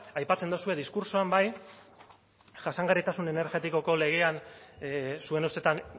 aipatzen duzue diskurtsoan bai jasangarritasun energetikoko legean zuen ustetan